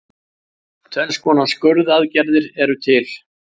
Tvenns konar skurðaðgerðir eru til.